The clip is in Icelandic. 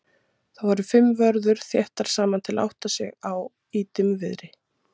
Þar voru fimm vörður þétt saman til að átta sig á í dimmviðri.